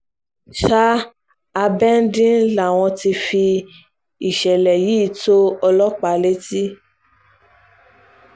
sa abẹ́dẹ̀ẹ́n láwọn ti fi ìṣẹ̀lẹ̀ yìí tó ọlọ́pàá létí